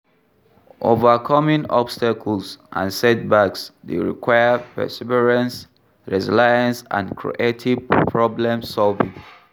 Overcoming obstacles and setbacks dey require perseverance, resilience and creative problem-solving.